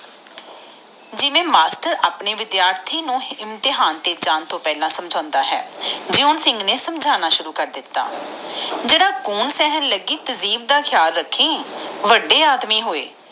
ਜਿਵੇਂ ਮਾਸਟਰ ਆਪਣੇ ਵਿਧਯਾਰਦੀ ਨੂੰ ਇਮਤਿਹਾਨ ਤੇ ਜਾਨ ਲਗਾ ਸਮਝਣਦਾ ਆ ਓਵੇਂ ਜੂਨ ਸਿੰਘ ਇੰਟਰ ਕੌਰ ਨੂੰ ਸਮਝਣਾ ਸ਼ੁਰੂ ਕਰ ਦਿਤਾ ਕਹਿੰਦਾ ਜਰਾ ਗਨ ਸਹਿਣ ਲਗਾਏ ਤਹਿਜੀਬ ਤਾ ਧਯਾਨ ਰੱਖੀ ਵਾਦੇ ਆਦਮੀ ਜੋ ਹੋਏ